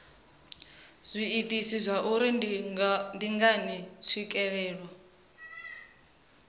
zwiitisi zwauri ndi ngani tswikelelo